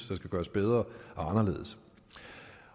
der skal gøres bedre og anderledes